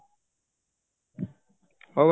ହଉ